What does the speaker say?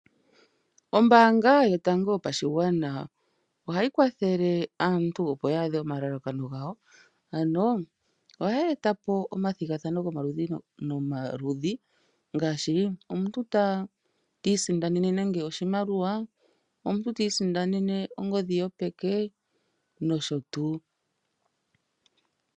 Ombaanga yotango yopashigwana ohayi kwathele aantu opo ya adhe omalalakano gawo, ano oya eta po omathigathano gomaludhi nomaludhi, ngaashi omuntu ta isindanene nande oshimaliwa, omuntu ta isindanene ongodhi yopeke nosho tuu.